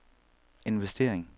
investering